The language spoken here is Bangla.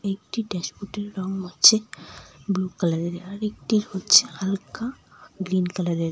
একটি ড্যাশবোর্ডের রং হচ্ছে ব্লু কালারের আরেকটি হচ্ছে হালকা গ্রীন কালারের ।